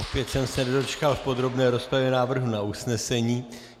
Opět jsem se nedočkal v podrobné rozpravě návrhu na usnesení.